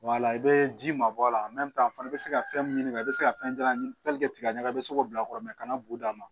i bɛ ji ma bɔ a la fana bɛ se ka fɛn min ɲini ka i bɛ se ka fɛn jalan ɲini i bɛ se k'o bila kɔrɔ minɛ kana b'u dama